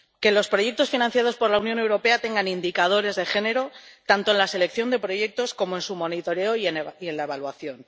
Que los proyectos financiados por la Unión Europea tengan indicadores de género, tanto en la selección de proyectos como en su monitoreo y en la evaluación.